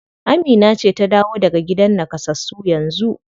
Amina ce ta dawo daga gidan nakasassu yanzu?